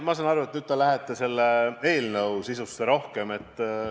Noh, ma saan aru, et nüüd te lähete selle eelnõu sisusse rohkem sügavuti.